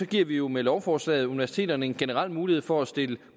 giver vi jo med lovforslaget universiteterne en generel mulighed for at stille